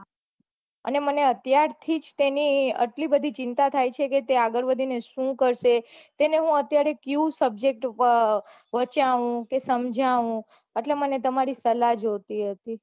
મને અત્યાર થી મને આટલી બઘી ચિંતા થાય છે તે આગળ વઘી ને શું કરશે તેને હું અત્યારે કયું subject અમ વંચાવું કે સમજવું એટલે મને તમારી સલાહ જોઈતી હતી